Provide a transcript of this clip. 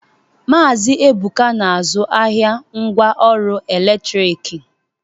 Maazi Ebụka na-azụ ahịa ngwa ọrụ ọkụ eletrik.